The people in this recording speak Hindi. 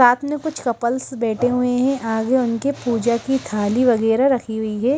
साथ में कुछ कपल्स बैठे हुए हैं आगे उनके पूजा की थाली वगैरह रखी हुई है।